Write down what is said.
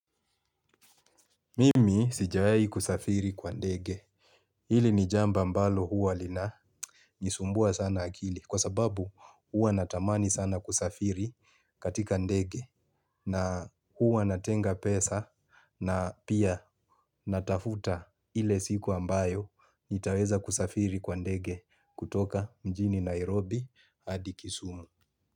Mimi sijawahi kusafiri kwa ndege. Hili ni jambo ambalo huwa lina. Nisumbua sana akili kwa sababu huwa natamani sana kusafiri katika ndege. Na huwa natenga pesa na pia natafuta ile siku ambayo nitaweza kusafiri kwa ndege kutoka mjini Nairobi hadi kisumu.